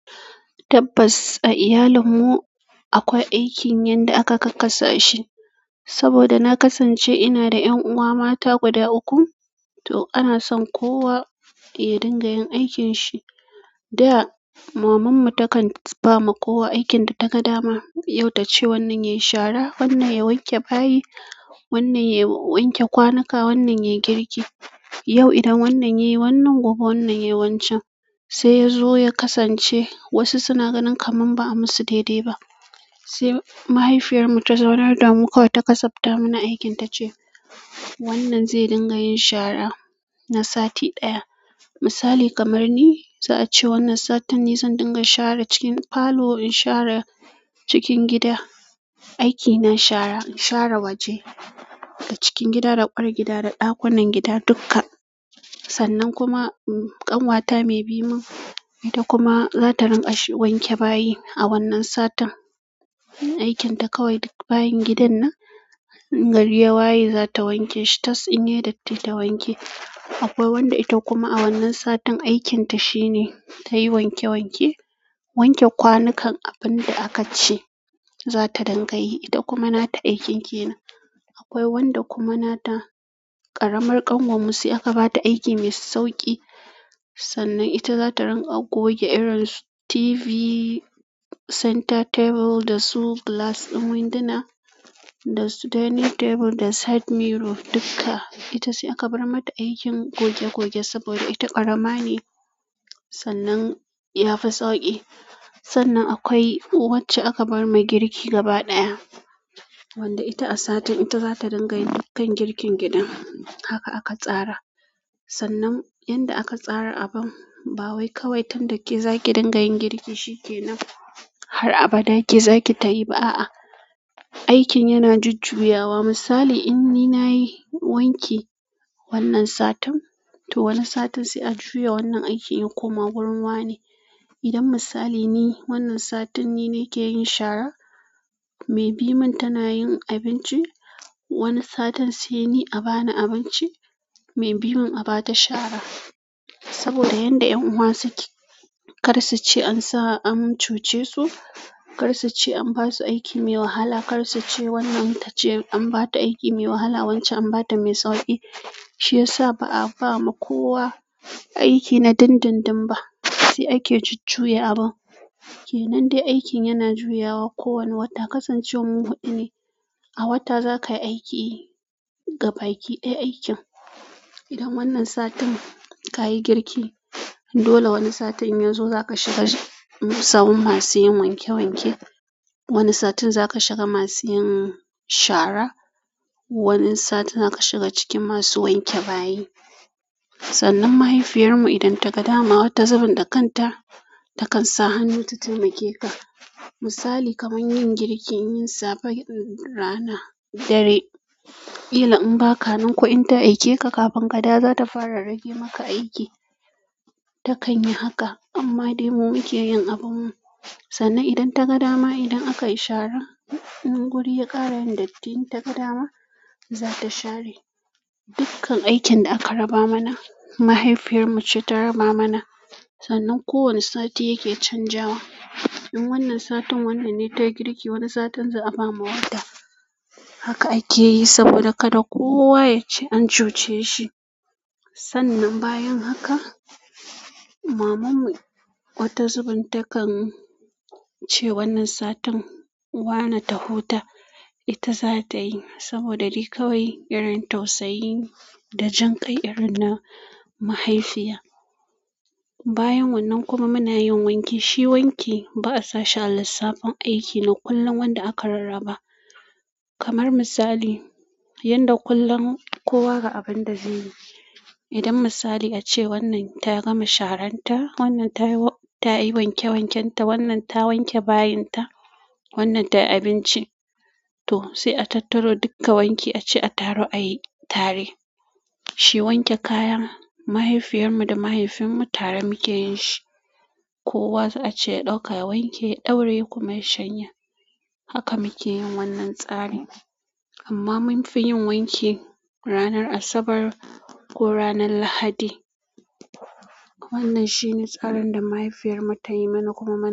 Tabbas, a iyalinmu akwai aikin yanda aka kakkasa shi. Saboda na kasance ina da 'yan'uwa mata guda uku, to ana son kowa ya dinga yin aikin shi. Da maman mu ta kan bama kowa aikin da taga dama yau tace wannan yai shara wannan ya wanke bayi wannan ya wanke kwanuna wannan yai girki yau idan wannan yayi wannan, gobe wannan yayi wancan. Sai yazo ya kasance wasu suna ganin kamin ba a yi musu daidai ba, sai mahaifiyar mu ta zaunar da mu kowa ta kasabta mana aikin ta ce wannan zai dinga yin shara na sati ɗaya. Misali kamar ni za a ce wannan satanni zan dinga shara cikin falo, in shara cikin gida, aiki na shara, in shara waje da cikin gida da ƙwar gida da ɗakunan gida duka. Sannan kuma ƙanwata mai biyu ta kuma zata ringa wanke bayi a wannan satan. Aikin ta kawai bayin gidan nan, gariye bayi za ta wanke shi, tas inye datti ta wanke. Akwai wanda ita kuma a wannan satin aikinta shine tayi wanke wanke wanke kwanunkan abun da akaci ita kuma nata aikin kennan akwai wanda kuma nata ƙaramar ƙanwar mu sai aka ba ta aiki mai sauƙi. Sannan ita za ta ringa goge irin su TV, centre table da su glass ɗin winduna da su dining table da side mirror duka. Ita sai aka bar mata aikin goge goge saboda ita ƙarama ne sannan ya fi sauƙi. Sannan akwai wacce aka bar mai girki gaba ɗaya, wanda ita a satin ita za ta dinga yin dukkan girkin gidan. Haka aka tsara. Sannan yanda aka tsara abun, ba wai kawai tan da ke zaki dinga yin girki shi ke nan. Har abada ake zaki ta yi ba a'a. Aikin yana jujjuyawa. Misali in ni na yi wanki wannan satan, to wannan satan sai a juya wannan aikin yin koma wurin wane. Idan misali ni wannan satin ni nake shara me bi mun tana abinci wani satin sai a bani abinci me bimun abata shara saboda yanda 'yan'uwa suke, kar su ce an sa an cuce su, kar su ce an ba su aiki mai wahala, kar su ce wannan ta ce an ba ta aiki mai wahala, wancan an ba ta mai sauƙi. Shi ya sa ba a ba ma kowa aiki na dindindin ba, sai ake jujjuya abun. Ke nan dai aikin yana juyawa kowane wata. Kasance wan mu huɗu ne a wata zakai aiki gaba ki ɗaya aikin idan wannan satin ka yi girki, dole wani satin yazo za ka shiga sawun masu yin wanke wanke. Wani satin za ka shiga masu yin shara. Wani satin za ka shiga cikin masu wanke bayi. Sannan mahaifiyar mu idan ta ga dama wata zubun da kanta ta kan sa hannu ta taimake ka. Misali kamar yin girkin, yin safe rana, dare, ƙila in ba ka nan ko in ta aike ka kafin kada za ta fara rage maka aiki. Ta kan yi haka amma dai mu muke yin abin mu. Sannan idan ta ga dama idan aka yi shara, in guri ya ƙare datti in ta ga dama, za ta share dukkan aikin da aka raba mana. Mahaifiyar mu ce ta raba mana. Sannan kowane sati yake canzawa. In wannan satin wannan ne ta yi girki, wannan satin za a ba mu wata. Haka ake yi saboda kada kowa ya ce an cuce shi. Sannan bayan haka mamanmu wata zubun takan ce wannan satin wane ta huta ita za ta yi. Saboda likawi irin tausayi da jin kai irin na mahaifiya. Bayan wannan kuma muna yin wanki. Shi wanki ba a sashi a lissafin aiki na kullum wanda aka rarraba. Kamar misali yanda kullum kowa ga abin da zai yi. Idan misali ace wannan ta gama sharan ta, wannan ta yi wanke wanken ta, wannan ta wanke bayin ta, wannan ta yi abinci, to sai a tattaro duka wanki a ci a taru a yi tare. Shi wanke kayan mahaifiyar mu da mahaifin mu tare muke yin shi. Kowa ace ɗauka wanke, ɗauraye kuma shanya. Haka muke yin wannan tsarin amma mun fi yin wanki ranar Asabar ko ranar Lahadi. Wannan shine tsarin da mahaifiyar mu ta yi mana kuma mu.